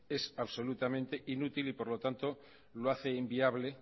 es absolutamente inútil y por lo tanto lo hace inviable